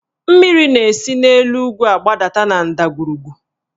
Mmiri na-esi n'elu ugwu gbadata na ndagwurugwu